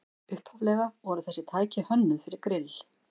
Upphaflega voru þessi tæki hönnuð fyrir grill